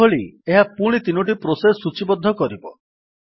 ପୂର୍ବଭଳି ଏହା ପୁଣି ତିନୋଟି ପ୍ରୋସେସ୍ ସୂଚୀବଦ୍ଧ କରିବ